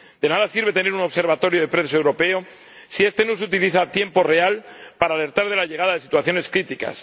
De nada sirve tener un observatorio de prensa europeo si este no se utiliza en tiempo real para alertar de la llegada de situaciones críticas.